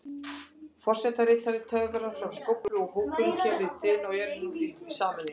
Forsetaritari töfrar fram skóflu og hópurinn kemur trénu í jörðina í sameiningu.